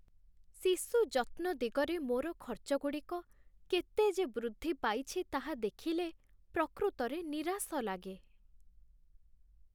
ଶିଶୁ ଯତ୍ନ ଦିଗରେ ମୋର ଖର୍ଚ୍ଚଗୁଡ଼ିକ କେତେ ଯେ ବୃଦ୍ଧି ପାଇଛି, ତାହା ଦେଖିଲେ ପ୍ରକୃତରେ ନିରାଶ ଲାଗେ।